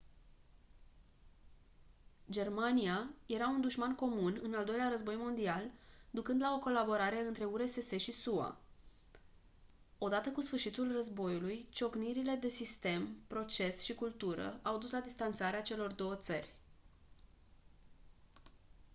germania era un dușman comun în al doilea război mondial ducând la o colaborare între urss și sua odată cu sfârșitul războiului ciocnirile de sistem proces și cultură au dus la distanțarea celor două țări